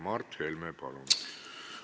Mart Helme, palun!